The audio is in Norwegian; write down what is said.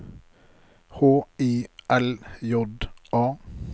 H I L J A